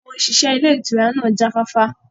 Àwọn òṣìṣẹ́ ilé ìtura náà jáfáfá